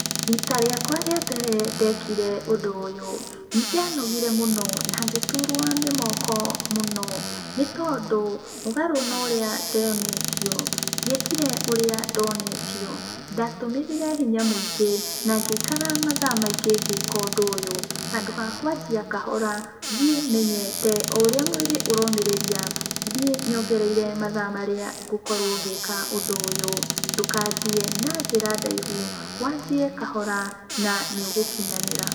Rita rĩakwa rĩambere ndekire ũndũ ũyũ, nĩndanogire mũno, na ngĩturwo nĩ moko mũno, nĩtondũ, mũgarũ na ũrũa ndonetio, ndiekire ũrĩa ndonetio, ndatũmĩrire hinya mũingĩ, na ngĩikara mathaa maingĩ ngĩka ũndũ ũyũ. Handũ ha kwanjia kahora thiĩ menyete, oũrĩa mwĩrĩ ũromĩrĩria, thiĩ nyongereire mathaa marĩa ngũkorwo ngĩka ũndũ ũyũ. Ndũkanjie na njĩra ndaihu, wanjie kahora, na nĩũgũkinyanĩra.